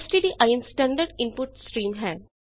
stdin standard input stream ਹੈ